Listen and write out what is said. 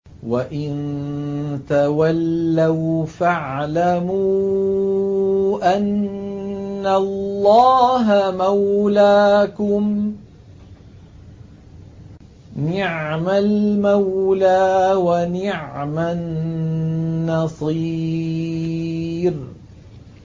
وَإِن تَوَلَّوْا فَاعْلَمُوا أَنَّ اللَّهَ مَوْلَاكُمْ ۚ نِعْمَ الْمَوْلَىٰ وَنِعْمَ النَّصِيرُ